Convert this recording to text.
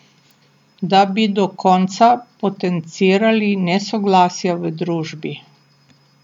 Da bi do konca potencirali nesoglasja v družbi.